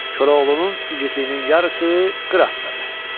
Koroğlunun igidliyinin yarısı Qıratdadır.